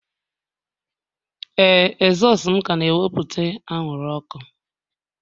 Ee, ezosu m ka na-ewepụta anwụrụ ọkụ